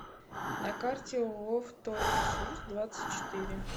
на карте ооо вторресурс двадцать четыре